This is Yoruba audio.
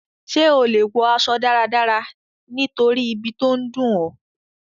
Sé o le wo aso dáradára nítorí ibi to n dùn ọ?